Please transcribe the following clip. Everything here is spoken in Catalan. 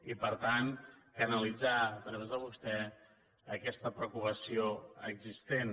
i per tant canalitzar a través de vostè aquesta preocupació existent